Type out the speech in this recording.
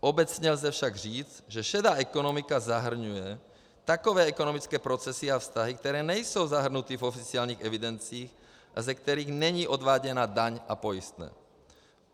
Obecně lze však říct, že šedá ekonomika zahrnuje takové ekonomické procesy a vztahy, které nejsou zahrnuty v oficiálních evidencích a ze kterých není odváděna daň a pojistné.